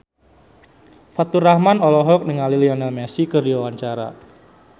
Faturrahman olohok ningali Lionel Messi keur diwawancara